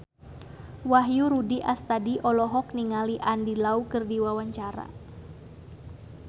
Wahyu Rudi Astadi olohok ningali Andy Lau keur diwawancara